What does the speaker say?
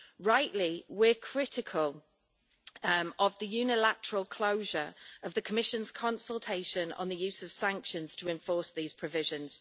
Rightly, we're critical of the unilateral closure of the Commission's consultation on the use of sanctions to enforce these provisions.